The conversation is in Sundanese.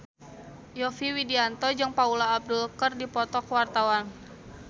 Yovie Widianto jeung Paula Abdul keur dipoto ku wartawan